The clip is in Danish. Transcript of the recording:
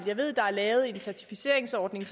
jeg ved at der er lavet en certificeringsordning